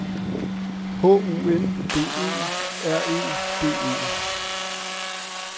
H U N D E R E D E